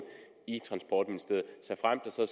i transportministeriet såfremt der så